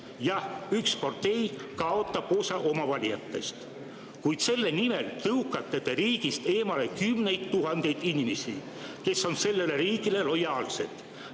Jah, üks partei kaotab osa oma valijatest, kuid selle nimel tõukate te riigist eemale kümneid tuhandeid inimesi, kes on sellele riigile lojaalsed.